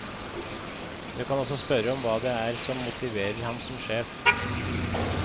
Du kan også spørre om hva det er som motiverer ham som sjef.